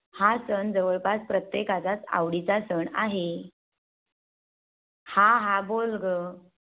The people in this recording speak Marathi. हा सण जवळपास प्रत्येका चा आवडीचा सण आहे. हा हा बोल ग.